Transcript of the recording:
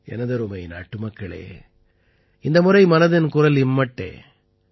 எனதருமை நாட்டுமக்களே இந்த முறை மனதின் குரல் இம்மட்டே